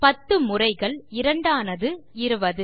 10 முறைகள் 2 ஆனது 20